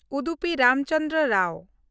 Udupi Ramchandra Rao